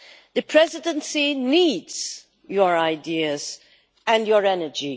The Presidency needs your ideas and your energy.